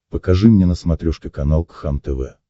покажи мне на смотрешке канал кхлм тв